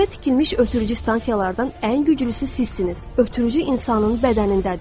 Yerdə tikilmiş ötürücü stansiyalardan ən güclüsü sizsiniz, ötürücü insanın bədənindədir.